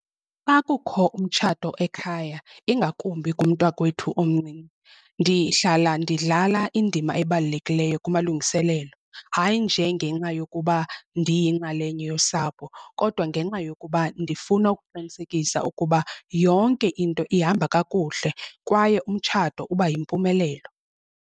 Xa kukho umtshato ekhaya, ingakumbi kumntakwethu omncinci ndihlala ndidlala indima ebalulekileyo kumalungiselelo. Hayi nje ngenxa yokuba ndiyinxalenye yosapho kodwa ngenxa yokuba ndifuna ukuqinisekisa ukuba yonke into ihamba kakuhle kwaye umtshato uba yimpumelelo.